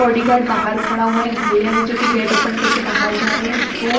bodyguard बहार खड़ा हुआ है एक भइया है जो की गेट ओपन कर के बहार जा रहे है दो--